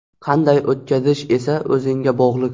Qanday o‘tkazish esa o‘zingga bog‘liq.